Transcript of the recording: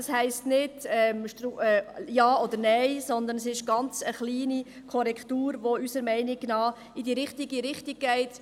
Dies heisst nicht, Ja oder Nein, sondern es ist eine ganz kleine Korrektur, die unserer Meinung nach in die richtige Richtung geht.